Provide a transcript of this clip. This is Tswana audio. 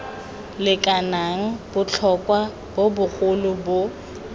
lekanang botlhotlhwa bo bogolo bo